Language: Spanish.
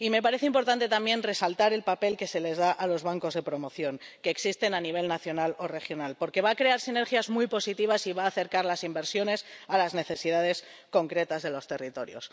Me parece importante también resaltar el papel que se les da a los bancos de promoción que existen a nivel nacional o regional, porque va a crear sinergias muy positivas y va a acercar las inversiones a las necesidades concretas de los territorios.